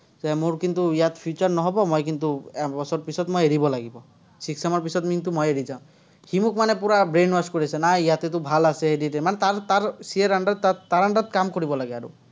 যে মোৰ কিন্তু ইয়াত future নহ'ব, মই কিন্তু, এবছৰৰ পিছত এৰিব লাগিব। sixth sem ৰ পিচত কিন্তু মই এৰি যাম। সি মোক মানে পুৰা brain wash কৰি আছে। নাই ইয়াতে তোৰ ভাল আছে, মানে তাৰ তাৰ CA ৰ under ত, তাৰ under ত কাম কৰিব লাগে আৰু।